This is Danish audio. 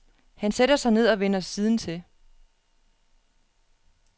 Han sætter sig ned og vender siden til.